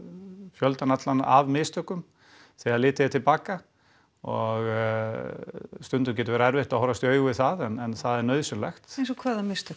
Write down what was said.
fjöldan allan af mistökum þegar litið er til baka og stundum getur verið erfitt að horfast í augu við það en það er nauðsynlegt eins og hvaða mistök